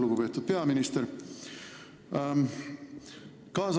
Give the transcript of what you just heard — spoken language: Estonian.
Lugupeetud peaminister!